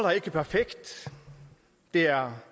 er ikke perfekt der